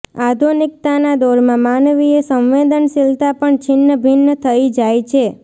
આધુનિકતાના દોરમાં માનવીય સંવેદનશીલતા પણ છિન્નભિન્ન થઇ જાય છે